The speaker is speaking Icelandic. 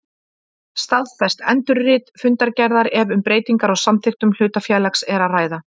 staðfest endurrit fundargerðar ef um breytingar á samþykktum hlutafélags er að ræða.